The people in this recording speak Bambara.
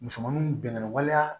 Musomaninw bɛnna waleya